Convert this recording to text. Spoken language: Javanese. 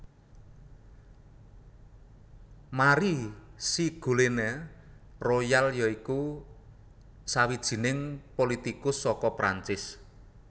Marie Ségolène Royal ya iku sawijining politikus saka Prancis